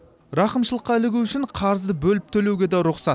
рақымшылыққа ілігу үшін қарызды бөліп төлеуге де рұқсат